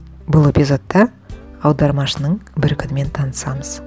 бұл эпизодта аудармашының бір күнімен танысамыз